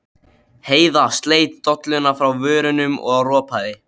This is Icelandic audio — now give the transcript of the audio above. Heiða sleit dolluna frá vörunum og ropaði.